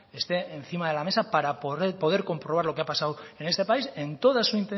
esté encima de la mesa para poder comprobar lo que ha pasado en este país en toda su